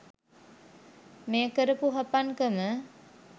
මේ කරපු හපන්කම